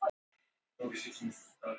júlí